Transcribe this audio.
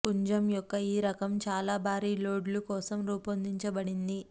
పుంజం యొక్క ఈ రకం చాలా భారీ లోడ్లు కోసం రూపొందించబడింది